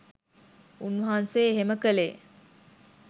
උන්වහන්සේ එහෙම කළේ